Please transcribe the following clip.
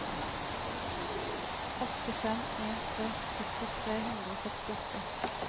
åtte fem en tre sytti tre hundre og sekstiåtte